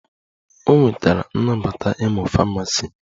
O nwetara nnabata ịmụ Famasi